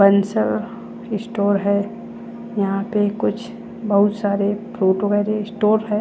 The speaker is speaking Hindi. बंसल स्टोर है यहाँ पे कुछ बहुत सारे फ्रूटों का ये स्टोर है।